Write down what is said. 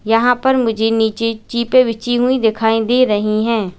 यहां पर मुझे नीचे चिपे बिछी हुई दिखाई दे रही है।